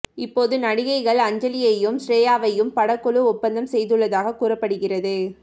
இப்போது நடிகைகள் அஞ்சலியையும் ஸ்ரேயாவையும் படக்குழு ஓப்பந்தம் செய்துள்ளதாகக் கூறப்படுகிறது